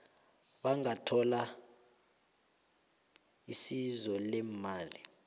bangathola isizo leemali